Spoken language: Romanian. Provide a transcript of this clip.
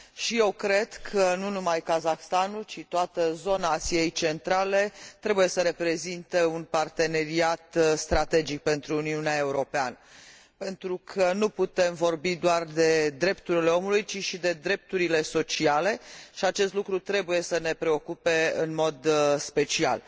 Și eu cred că, nu numai Kazahstanul, ci toată zona Asiei Centrale trebuie să reprezinte un parteneriat strategic pentru Uniunea Europeană, pentru că nu putem vorbi doar de drepturile omului, ci și de drepturile sociale, și acest lucru trebuie să ne preocupe în mod special.